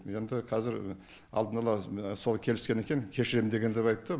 енді қазір алдын ала келіскен екен кешірем деген деп айтты